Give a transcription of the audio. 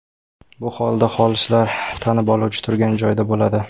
Bu holda xolislar tanib oluvchi turgan joyda bo‘ladi.